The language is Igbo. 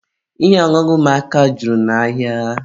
Ihe ọṅụṅụ ụmụaka juru n'ahịa.